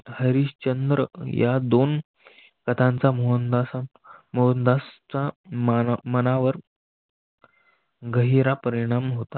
हरिश्चंद्र या दोन पदांचा मोहनदास चा मनावर गहिरा परिणाम होता.